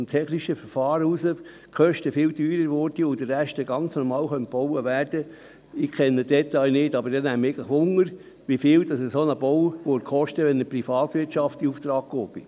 Ich kenne die Details nicht, aber es würde mich interessieren, wie teuer dieser Bau zu stehen käme, wenn er von der Privatwirtschaft in Auftrag gegeben würde.